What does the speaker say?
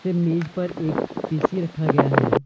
फिर मेज पर एक पी_सी रखा गया हैं।